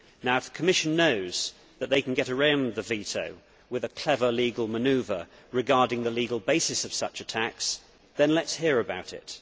If the Commission knows that it can get around the veto with a clever legal manoeuvre regarding the legal basis of such attacks, then let us hear about it.